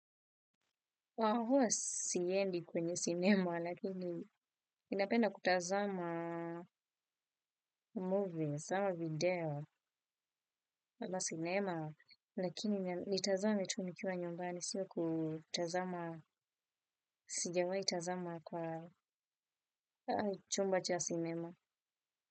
Kwa kuwa sipendi kwenye sinema lakini ninapenda kutazama Movies, kutazama video kwa sinema lakini nitazame tu nikiwa nyumbani sio kutazama sijawai tazama kwa chumba cha sinema.